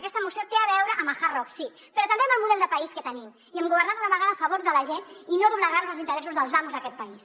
aquesta moció té a veure amb el hard rock sí però també amb el model de país que tenim i amb governar d’una vegada a favor de la gent i no doblegar nos als interessos dels amos d’aquest país